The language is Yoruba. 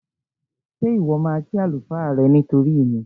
Ṣé Ìwọ́ máa kí àlùfáà rẹ nítorí mi?